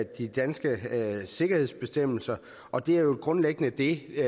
de danske sikkerhedsbestemmelser og det er jo grundlæggende det